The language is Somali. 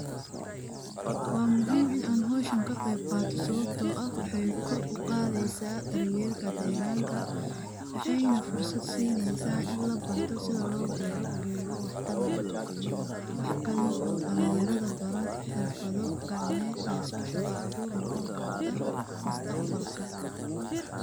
Wa muhim inan howshan kaqeybqato sabato ah waxay kor uqadheysa daryelka deganka, waxayna fursad sineysa in labarto sidhi lobero gedo wax tar leh, waxa kalo oo dalanyarada barani xirfadho gacmed tas oo shaqa abur noqoni karto mustaqbalk.